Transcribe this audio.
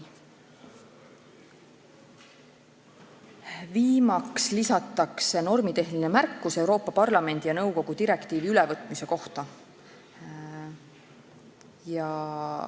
Viimaks lisatakse ka normitehniline märkus Euroopa Parlamendi ja nõukogu direktiivi ülevõtmise kohta.